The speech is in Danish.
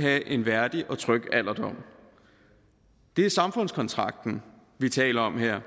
have en værdig og tryg alderdom det er samfundskontrakten vi taler om her